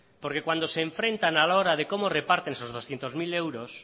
porque cuando se enfrentan a la hora de cómo reparten esos doscientos mil euros